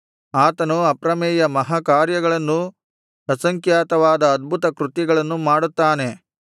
ಆತನು ಅಪ್ರಮೇಯ ಮಹಾಕಾರ್ಯಗಳನ್ನೂ ಅಸಂಖ್ಯಾತವಾದ ಅದ್ಭುತಕೃತ್ಯಗಳನ್ನೂ ಮಾಡುತ್ತಾನೆ